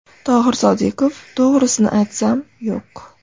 Tohir Sodiqov: To‘g‘risini aytsam, yo‘q.